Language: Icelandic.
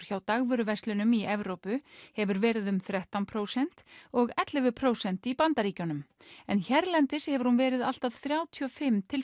hjá dagvöruverslunum í Evrópu hefur verið um þrettán prósent og ellefu prósent í Bandaríkjunum en hérlendis hefur hún verið allt að þrjátíu og fimm til